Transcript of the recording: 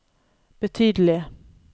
betydelige